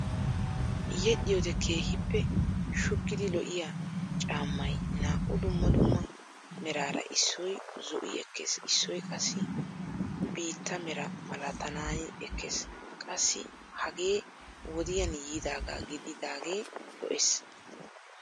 yedhiyoode keehippe shuggidi lo"iyaa caammay naa"u dumma dumma meraara issoy zo"i ekkees issoy qassi biittaa meraa malatanaani ekkees. Qassi hagee wodiyaan yiidaagaa gididagee lo"ees.